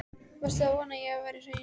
Varstu að vona að ég væri hrein mey?